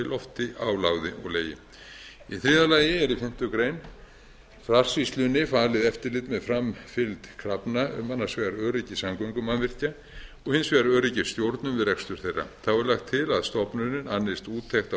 lofti á láði og legi í þriðja lagi er í fimmtu grein farsýslunni falið eftirlit með framfylgd krafna um annars vegar öryggi samgöngumannvirkja og hins vegar öryggisstjórnun við rekstur þeirra þá er lagt til að stofnunin annist úttekt á